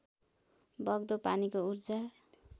बग्दो पानीको ऊर्जा